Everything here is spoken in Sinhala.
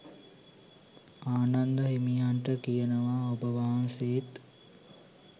ආනන්ද හිමියන්ට කියනවා ඔබවහන්සේත්